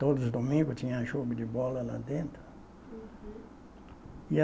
Todos os domingos tinha jogo de bola lá dentro. Uhum. E a